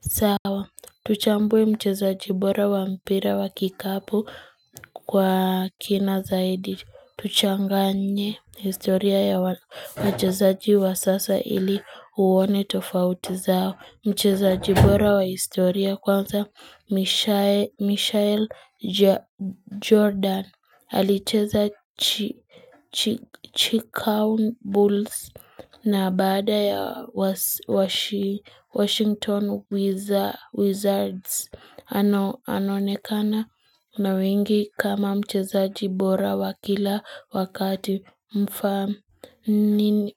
Sawa, tuchambwe mcheza jibora wa mpira wa kikapu kwa kina zaidi. Tuchanganye historia ya mcheza jibora wa historia kwanza Michelle Jordan. Alicheza chikango bulls na baada ya Washington Wizards anonekana na wengi kama mchezaji bora wakila wakati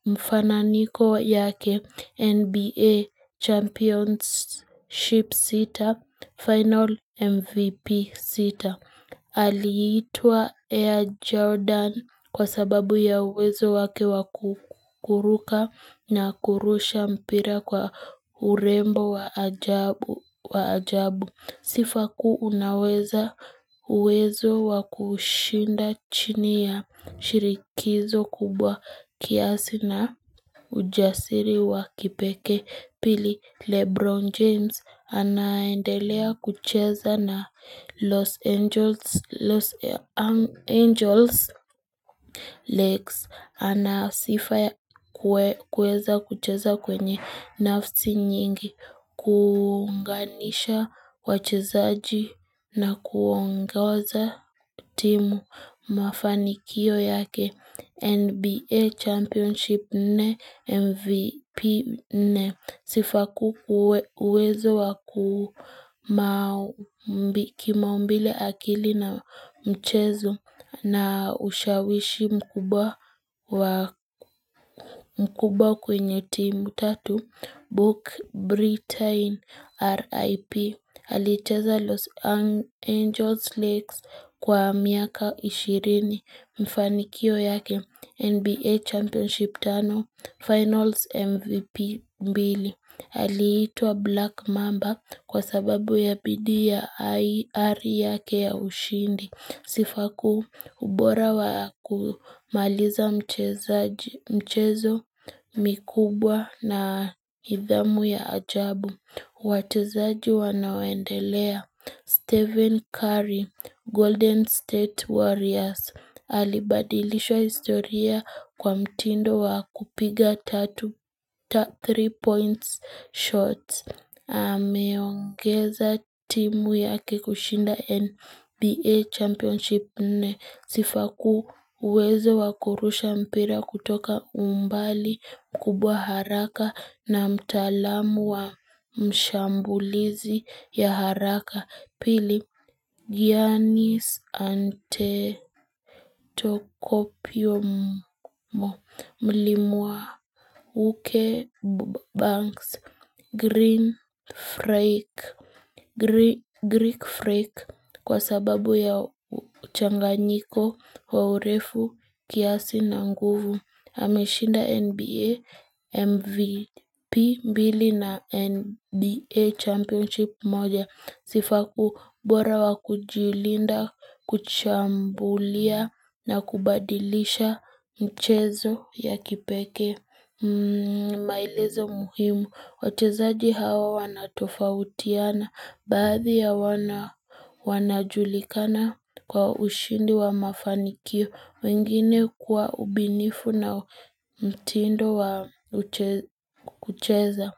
mfananiko yake NBA championship sita, final MVP sita. Aliitua Air Jordan kwa sababu ya wezo wake wakuruka na kurusha mpira kwa urembo wa ajabu Sifa kuu unaweza wezo wakushinda chini ya shirikizo kubwa kiasi na ujasiri wakipeke Pili Lebron James anaendelea kucheza na Los Angeles Leagues ana sifa kueza kucheza kwenye nafsi nyingi kunganisha wachezaji na kuongaza timu mafanikio yake NBA championship nne MVP nne sifa kuwezo kimaumbile akili na mchezo na ushawishi mkuba kwenye timu tatu Book Britain R.I.P. Haliteza Los Angeles Leagues kwa miaka ishirini mfanikio yake NBA championship tano finals MVP mbili. Halitua Black Mamba kwa sababu ya pidi ya IR yake ya ushindi. Sifa kuu ubora wa kumaliza mchezo mikubwa na nidhamu ya ajabu. Watuzaji wanawendelea, Stephen Curry, Golden State Warriors, alibadilishwa historia kwa mtindo wa kupiga three points shots. Ameongeza timu yake kushinda NBA championship ne sifa kuwezo wakurusha mpira kutoka umbali kubwa haraka na mtalamu wa mshambulizi ya haraka. Pili, Giannis Antetokopio Mlimwa, Uke Banks, Green Freak, Greek Freak, kwa sababu ya uchanganyiko, waurefu, kiasi na nguvu. Hamishinda NBA, MVP na NBA championship moja sifaku bora wakujilinda, kuchambulia na kubadilisha mchezo ya kipeke mailezo muhimu. Wachezaji hawa wanatofautiana baadhi ya wanajulikana kwa ushindi wa mafanikio wengine kuwa ubinifu na mtindo wa kucheza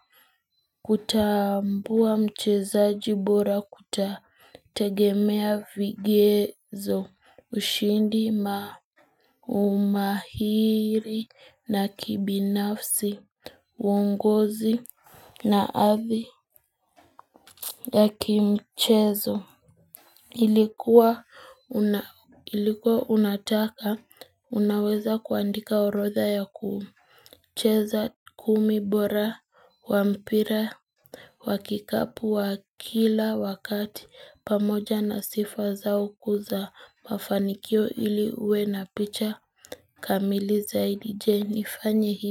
kutambua mchezaji bora kutategemea vigezo ushindi maumahiri na kibinafsi uungozi na athi ya kimchezo Ilikuwa unataka unaweza kuandika urodha ya kuumu cheza kumi bora wa mpira Wakikapu wa kila wakati pamoja na sifa zao kuza mafanikio ili ue na picha kamili zaidi je nifanye hii.